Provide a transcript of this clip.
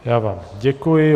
Já vám děkuji.